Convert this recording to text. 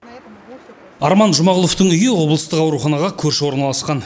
арман жұмағұловтың үйі облыстық ауруханаға көрші орналасқан